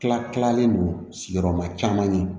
Tila kilalen don sigiyɔrɔma caman ɲɛ